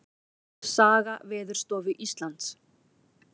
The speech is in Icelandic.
Saga Veðurstofu Íslands.